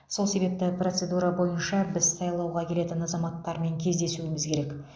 сол себепті процедура бойынша біз сайлауға келетін азаматтармен кездесуіміз керек